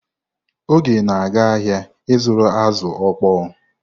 Oge na-aga ahịa ịzụrụ azụ̀ okpoo.